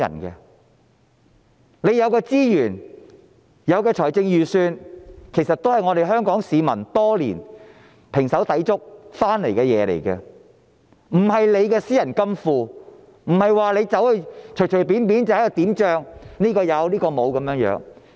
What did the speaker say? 政府有的資源及財政儲備，是香港市民多年來胼手胝足得來的，不是官員的私人金庫，不是官員可任意決定這人有那人沒有。